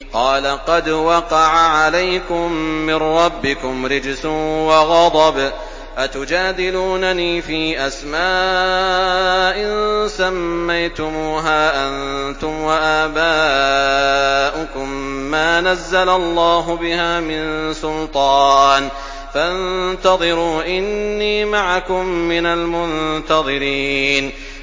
قَالَ قَدْ وَقَعَ عَلَيْكُم مِّن رَّبِّكُمْ رِجْسٌ وَغَضَبٌ ۖ أَتُجَادِلُونَنِي فِي أَسْمَاءٍ سَمَّيْتُمُوهَا أَنتُمْ وَآبَاؤُكُم مَّا نَزَّلَ اللَّهُ بِهَا مِن سُلْطَانٍ ۚ فَانتَظِرُوا إِنِّي مَعَكُم مِّنَ الْمُنتَظِرِينَ